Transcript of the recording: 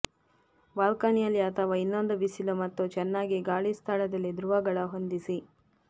ಬಾಲ್ಕನಿಯಲ್ಲಿ ಅಥವಾ ಇನ್ನೊಂದು ಬಿಸಿಲು ಮತ್ತು ಚೆನ್ನಾಗಿ ಗಾಳಿ ಸ್ಥಳದಲ್ಲಿ ಧ್ರುವಗಳ ಹೊಂದಿಸಿ